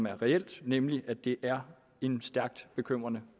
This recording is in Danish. er reelt nemlig at det er en stærkt bekymrende